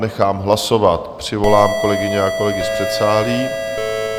Nechám hlasovat, přivolám kolegy a kolegyně z předsálí.